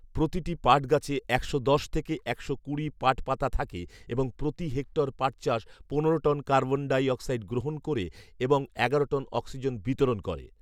প্রতিটি পাটগাছে একশো দশ থেকে একশো কুড়ি পাট পাতা থাকে এবং প্রতি হেক্টর পাটচাষ পনেরো টন কার্বন ডাইঅক্সাইড গ্রহণ ক'রে এবং এগারো টন অক্সিজেন বিতরণ করে